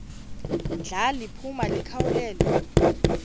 ndla liphuma likhawulele